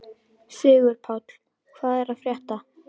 Sigurpáll, hvað er að frétta?